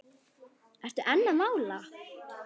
Ertu enn að mála?